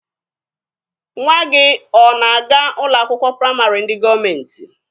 Nwa gị ọ na-aga ụlọ akwụkwọ praịmarị ndị gọọmentị?